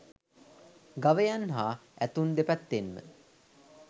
ගවයන් හා ඇතුන් දෙපැත්තෙන්ම